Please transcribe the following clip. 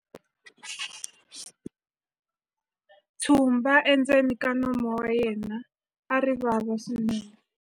tshumba endzeni ka nomu wa yena a ri vava swinene